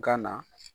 Gana